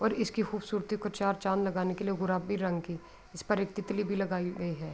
اور خوبصورت کو چار چاند لگانے کے لئے گلابی رنگ کی اس پر ایک تتلی بھی لگایی ہے۔